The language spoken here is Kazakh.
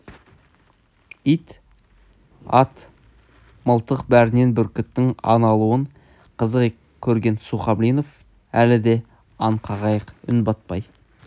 ит ат мылтық бәрінен бүркіттің аң алуын қызық көрген сухомлинов әлі де аң қағайық үн батпай